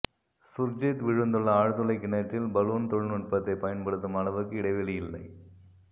சுர்ஜித் விழுந்துள்ள ஆழ்துளை கிணற்றில் பலூன் தொழில்நுட்பத்தை பயன்படுத்தும் அளவுக்கு இடைவெளி இல்லை